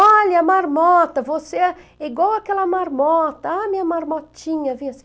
Olha a marmota, você é igual àquela marmota, ah, minha marmotinha, vem assim.